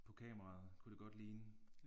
På kameraet kunne det godt ligne